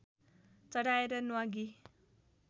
चढाएर न्वागी